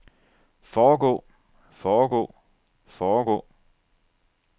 foregå foregå foregå